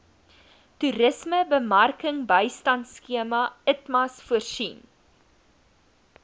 toerismebemarkingbystandskema itmas voorsien